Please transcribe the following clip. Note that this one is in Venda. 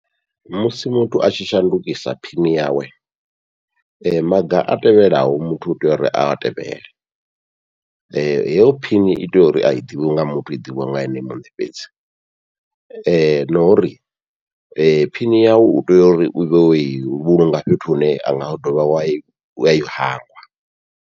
Musi muthu atshi shandukisa phini yawe, maga a tevhelaho muthu utea uri a tevhele heyo phini i tea uri ai ḓivhiwi nga muthu i ḓivhiwa nga ene muṋe fhedzi, na uri phini yau utea uri uvhe wo i vhulunga fhethu hune anga u dovhi wayi wai hangwa.